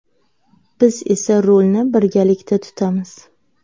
Biz esa rulni birgalikda tutamiz.